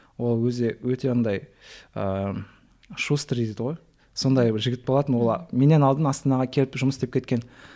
ол өзі өте ондай ыыы шустрый дейді ғой сондай бір жігіт болатын ол а менен алдын астанаға келіп жұмыс істеп кеткен